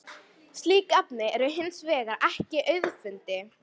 Slík efni eru hins vegar ekki auðfundin.